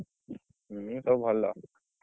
ହୁଁ। ସବୁ ଭଲ।